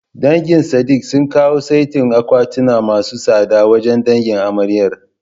Dangin Sadik sun kawo saitin akwatuna masu tsada wajen dangin amaryar.